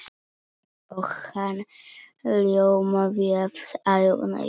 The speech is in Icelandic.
Og hann ljómaði af ánægju.